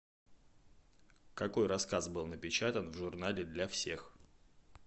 какой рассказ был напечатан в журнале для всех